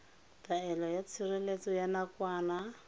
taelo ya tshireletso ya nakwana